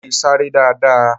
Mo leè sáré dáadáa